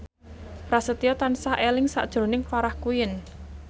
Prasetyo tansah eling sakjroning Farah Quinn